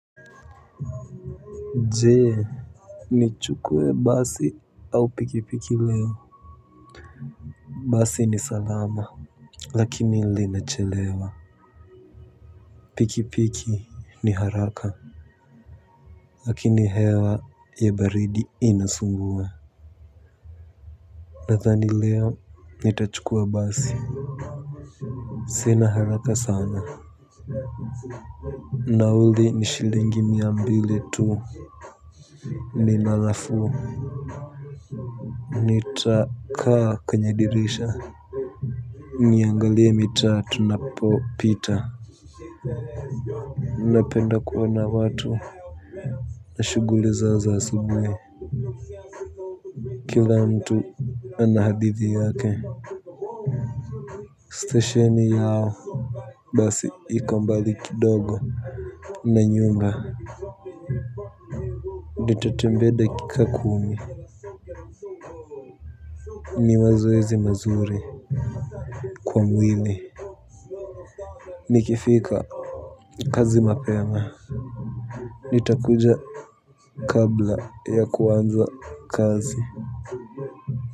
Je, nichukue basi au pikipiki leo? Basi ni salama lakini linachelewa. Pikipiki ni haraka. Lakini hewa ya baridi inasumbua. Nadhani leo nitachukua basi. Sina haraka sana. Nauli ni shilingi mia mbili tu. Nina nafuu. Nitakaa kwenye dirisha. Niangalie mitaa tunapopita. Napenda kuona watu na shuguli zao za asubuhi. Kila mtu ana hadithi yake. Stesheni yao basi iko mbali kidogo. Nanyuma. Nitatembea dakika kumi. Ni mazoezi mazuri kwa mwili. Nikifika kazi mapema nitakuja kabla ya kuanza kazi.